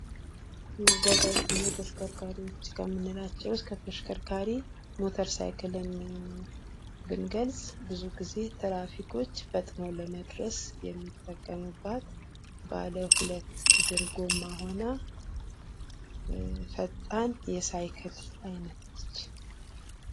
መጓጓዣ እና ተሽከርካሪዎች ከምንላቸው ውስጥ ከተሽከርካሪ ሞተር ሳይክልን ብንገልፅ ብዙ ጊዜ ትራፊኮች ፈጥነው ለመድረስ የሚጠቀሙባት ባለ ሁለት እግር ጎማ ሁና ፈጣን የሳይክል አይነት ነች ።